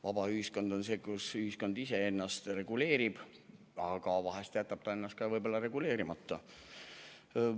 Vaba ühiskond on selline, kus ühiskond ise ennast reguleerib, aga vahel jätab üht-teist ka reguleerimata.